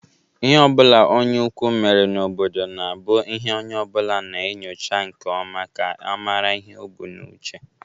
lhe obula onye ukwu mere n'obodo na-abu ihe onye obula na-enyocha nke oma ka a mara ihe o bu n'uche.